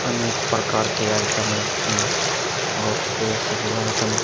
अनके प्रकार के आइटम हैं और वे सभी आइटम --